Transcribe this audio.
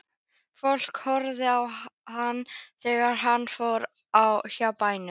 Fólk horfði á hann þegar hann fór hjá bæjum.